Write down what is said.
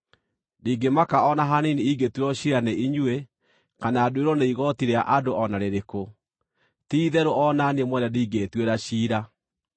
Ndingĩmaka o na hanini ingĩtuĩrwo ciira nĩ inyuĩ, kana nduĩrwo nĩ igooti rĩa andũ o na rĩrĩkũ; ti-itherũ o na niĩ mwene ndingĩĩtuĩra ciira.